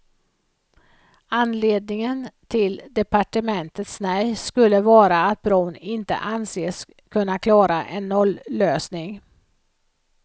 Anledningen till departementets nej skulle vara att bron inte anses kunna klara en nollösning.